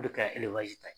O de ka ta ye